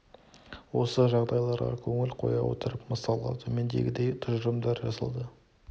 осы жағдайларға көңіл қоя отырып мысалға төмендегідей тұжырымдар жасады